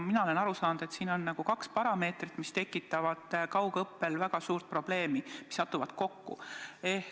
Mina olen aru saanud, et on nagu kaks tegurit, mis tekitavad kaugõppel väga suuri probleeme, kuna need satuvad kokku.